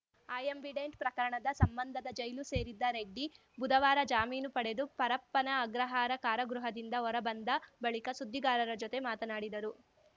Ambidant ಪ್ರಕರಣದ ಸಂಬಂಧದ ಜೈಲು ಸೇರಿದ್ದ ರೆಡ್ಡಿ ಬುಧವಾರ ಜಾಮೀನು ಪಡೆದು ಪರಪ್ಪನ ಅಗ್ರಹಾರ ಕಾರಾಗೃಹದಿಂದ ಹೊರಬಂದ ಬಳಿಕ ಸುದ್ದಿಗಾರರ ಜೊತೆ ಮಾತನಾಡಿದರು